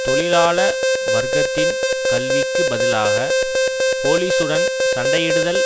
தொழிலாள வர்க்கத்தின் கல்விக்குப் பதிலாகப் போலீசுடன் சண்டையிடுதல்